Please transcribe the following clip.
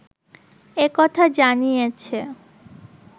একথা জানিয়েছে